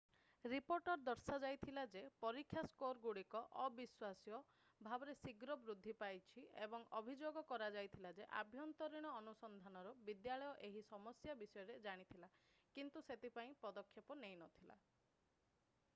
ରିପୋର୍ଟରେ ଦର୍ଶାଯାଇଥିଲା ଯେ ପରୀକ୍ଷା ସ୍କୋରଗୁଡ଼ିକ ଅବିଶ୍ୱାସ୍ୟ ଭାବରେ ଶୀଘ୍ର ବୃଦ୍ଧି ପାଇଛି ଏବଂ ଅଭିଯୋଗ କରାଯାଇଥିଲା ଯେ ଆଭ୍ୟନ୍ତରୀଣ ଅନୁସନ୍ଧାନରୁ ବିଦ୍ୟାଳୟ ଏହି ସମସ୍ୟା ବିଷୟରେ ଜାଣିଥିଲା କିନ୍ତୁ ସେଥିପାଇଁ ପଦକ୍ଷେପ ନେଇନଥିଲା